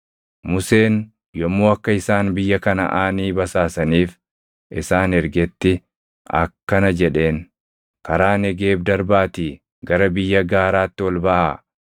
Museen yommuu akka isaan biyya Kanaʼaanii basaasaniif isaan ergetti akkana jedheen; “Karaa Negeeb darbaatii gara biyya gaaraatti ol baʼaa.